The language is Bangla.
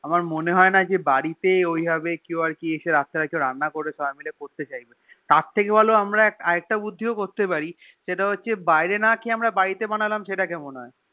আমার মনেহয়েনা যে বাড়িতে ওই ভাব কেউ আরকি রাত্রে এসে রান্না করে কেও সেটা করতে হইবেনা তার থেকে ভালো আমরা আর একটা বুদ্ধিও করতে পারি সেটা হচ্ছে বাইরে না খেয়ে আমরা বাড়িতে বানালাম সেটা কেমন হয়